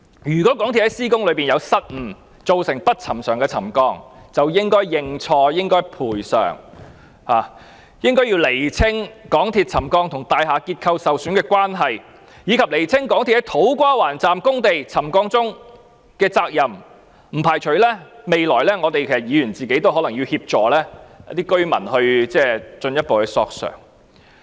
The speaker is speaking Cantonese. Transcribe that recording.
如果港鐵公司在施工期間有失誤，造成不尋常的沉降，便應該認錯和賠償，應該釐清港鐵公司工程導致的沉降情況與大廈結構受損的關係，以及釐清港鐵公司在土瓜灣站工地沉降中的責任，而我並不排除在未來日子，議員也要協助居民進一步索償。